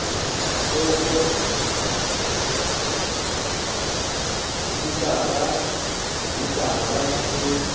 ditofo dikisara le dihitara ke